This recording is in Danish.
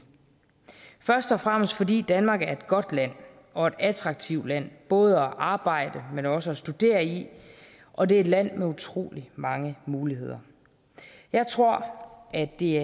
først og fremmest fordi danmark er et godt land og et attraktivt land både at arbejde men også at studere i og det er et land med utrolig mange muligheder jeg tror at det